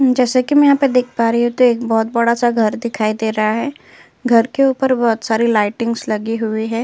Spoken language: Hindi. जैसे की मैं यहाँ पे देख पा रही हूँ कि एक बहोत बड़ा सा घर दिखाई दिखाई दे रहा है। घर के उपर बहोत सारी लइटिंग्स लगी हुई हैं।